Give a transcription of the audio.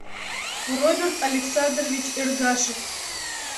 роберт александрович эргашев